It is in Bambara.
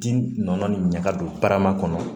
Di nɔnɔ ɲɛ ka don barama kɔnɔ